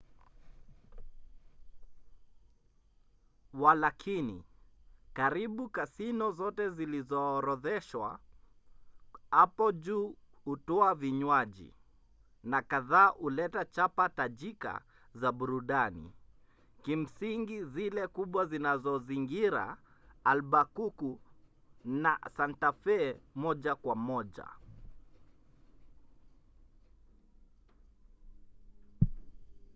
walakini karibu kasino zote zilizoorodheshwa hapo juu hutoa vinywaji na kadhaa huleta chapa tajika za burudani kimsingi zile kubwa zinazozingira albukuku na santa fe moja kwa moja